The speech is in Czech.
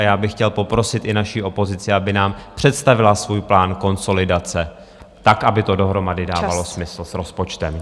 A já bych chtěl poprosit i naši opozici, aby nám představila svůj plán konsolidace, tak aby to dohromady dávalo smysl s rozpočtem.